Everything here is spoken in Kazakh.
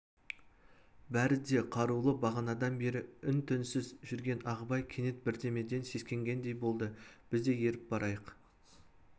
бәрі де қарулы бағанадан бері үн-түнсіз жүрген ағыбай кенет бірдемеден сескенгендей болды біз де еріп барайық